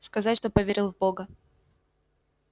сказать что поверил в бога